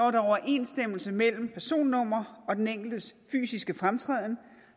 er overensstemmelse mellem personnummer og den enkeltes fysiske fremtræden